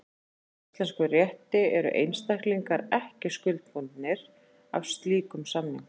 Samkvæmt íslenskum rétti eru einstaklingar ekki skuldbundnir af slíkum samningum.